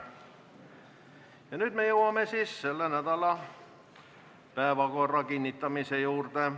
Ja nüüd jõuame selle nädala päevakorra kinnitamise juurde.